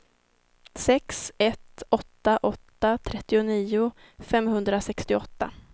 sex ett åtta åtta trettionio femhundrasextioåtta